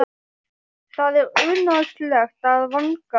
Það er unaðslegt að vanga hana.